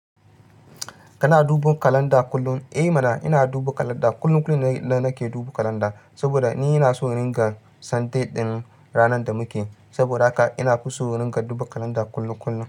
Kana duban kalanda kullum? Eh mana ina duba kalanda. Kullun kullun nake duban kalanda saboda ni ina son in rika san date din ranar da muke. Saboda haka ina fiso in rinƙa duba kalanda kullun kullun.